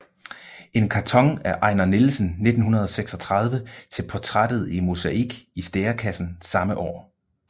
En karton af Ejnar Nielsen 1936 til portrætteret i mosaik i Stærekassen samme år